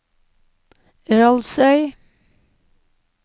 Rolvsøy